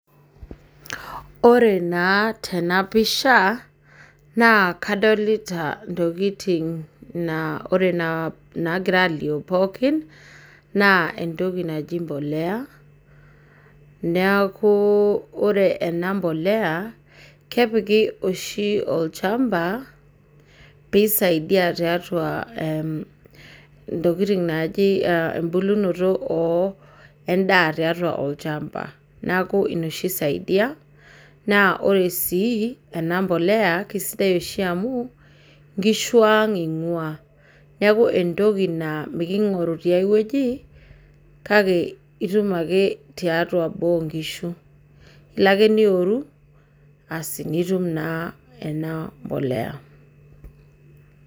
Ore naa tenapisha naa kadolita ntokiting naagira alio pookin ,naa entoki naji mpolea ,neeku ore ena mpolea kepiki oshi olchampa, pee eisaidia toontokiting naaji embulunoto endaa tatua olchampa .Neeku ina oshi eisaidia naa ore sii ena mpolea naa nkishu ang eingua neeku entoki naa mikingoru tiai weji, kake itum ake tiatua boo onkishu. Ilo ake noworu nitum ena mpolea.